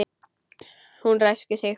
Hún ræskir sig.